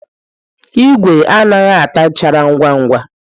Igwe anaghị ata nchara ngwa ngwa.